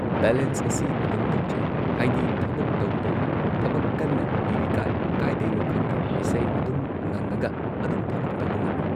balance ꯑꯁꯤ ꯑꯩ ꯑꯗꯨꯝ ꯇꯧꯖꯩ ꯍꯥꯏꯗꯤ ꯊꯕꯛ ꯇꯧ ꯇꯧꯅ ꯊꯕꯛ ꯀꯟꯅ ꯏꯔꯤꯀꯥꯟ ꯀꯥꯏꯗꯩꯅꯣ ꯈꯪꯗꯦ ꯏꯁꯩ ꯑꯗꯨꯝ ꯉꯪꯉꯒ ꯑꯗꯨꯝ ꯊꯕꯛ ꯇꯧꯕ ꯉꯝꯃꯤ